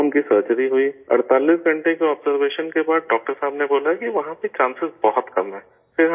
وہاں ان کی سرجری ہوئی، 48 گھنٹے کے آبزرویشن کے بعد ڈاکٹر صاحب نے بولا کہ وہاں سے چانسز بہت کم ہیں